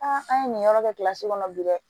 an ye nin yɔrɔ kɛ kɔnɔ bi dɛ